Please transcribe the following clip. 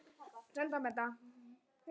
Engin græðgi og ekkert stress!